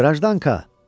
Qrajdanka.